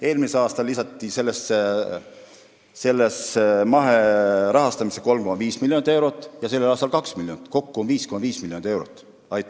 Eelmisel aastal lisarahastati mahepõllumajandust 3,5 miljoniga ja sellel aastal 2 miljoniga, kokku 5,5 miljoni euroga.